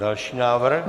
Další návrh.